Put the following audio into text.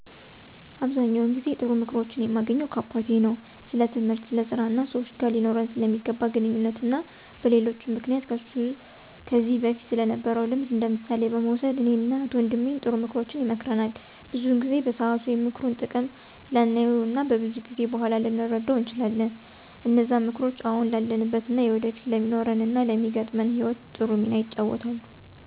አብዛኛውን ጊዜ ጥሩ ምክሮችን የማገኘው ከአባቴ ነው። ስለትምህርት፣ ስለ ስራ እና ሰወች ጋር ሊኖረን ስለሚገባ ግንኙነት እና በሌሎችም ምክንያቶች ከሱ ከዚ በፊት ስለነበረው ልምድ እንደምሳሌ በመውሰድ እኔን እና እህት ወንድሜን ጥሩ ምክሮችን ይመክረናል። ብዙውን ጊዜ በሰአቱ የምክሩን ጥቅም ላናየው እና ከብዙ ጊዜ በኋላ ልንረደው እንችላለን። እነዛም ምክሮች አሁን ላለንበት እና ወደፊት ለሚኖረን እና ለሚገጥመን ህይወት ጥሩ ሚና ይጫወታሉ።